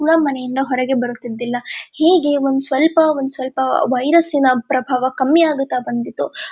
ನಮ್ಮಮನೆಯಿಂದ ಹೊರಗೆ ಬರುತ್ತಿದ್ದಿದಿಲ್ಲಾ ಹೀಗೆ ಒಂದ ಸ್ವಲ್ಪ ಒಂದ ಸ್ವಲ್ಪ ವೈರಸಿನ ಪ್ರಬಾವ ಕಮ್ಮಿ ಆಗುತ್ತಾ ಬಂದಿತ್ತು .